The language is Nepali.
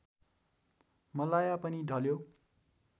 मलाया पनि ढल्यो